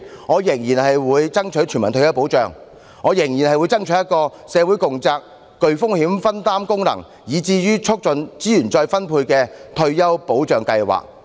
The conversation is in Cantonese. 我仍然會爭取全民退保，爭取一個社會共責、具風險分擔功能，以至促進資源再分配的退休保障制度。